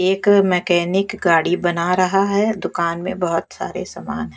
एक मैकेनिक गाड़ी बना रहा है दुकान में बहुत सारे सामान है।